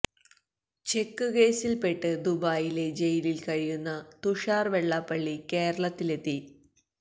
check കേസിൽ പെട്ട് ദുബായിലെ ജയിലില് കഴിഞ്ഞ തുഷാർ വെളളാപ്പളളി കേരളത്തിലെത്തി